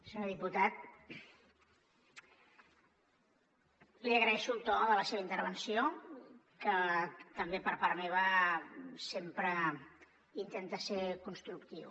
senyor diputat li agraeixo el to de la seva intervenció que també per part meva sempre intenta ser constructiu